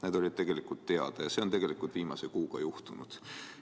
Need asjad olid teada ja see on tegelikult viimase kuuga juhtunud.